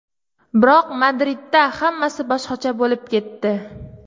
Biroq Madridda hammasi boshqacha bo‘lib ketdi.